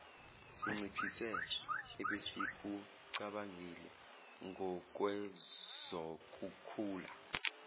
sinciphise ebesikucabangile ngokwezokukhula